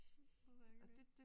Det er rigtigt